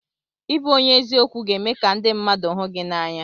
Ịbụ onye eziokwu ga-eme ka ndị mmadụ hụ gị n'anya.